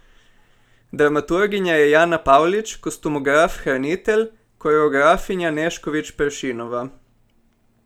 Dramaturginja je Jana Pavlič, kostumograf Hranitelj, koreografinja Nešković Peršinova.